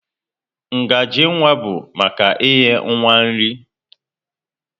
Ngaji nwa bụ maka inye nwa nri.